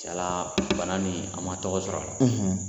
Tiɲɛna bana nin a ma tɔgɔ sɔrɔ.